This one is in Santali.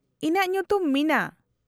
-ᱤᱧᱟᱹᱜ ᱧᱩᱛᱩᱢ ᱢᱤᱱᱟ ᱾